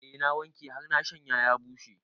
Eh na wanke har na shanya ya bushe